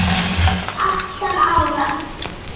Átta ára